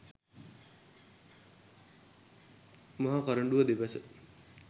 මහ කරඬුව දෙපස